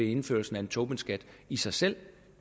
indførelsen af en tobinskat i sig selv